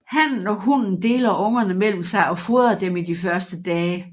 Hannen og hunnen deler ungerne mellem sig og fodrer dem i de første dage